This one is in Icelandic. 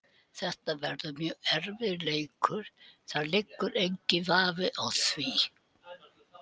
Þetta verður mjög erfiður leikur, það liggur enginn vafi á því.